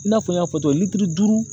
I n'a fɔ n y'a fɔ cogo litiri duuru